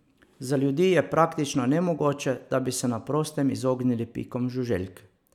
Za ljudi je praktično nemogoče, da bi se na prostem izognili pikom žuželk.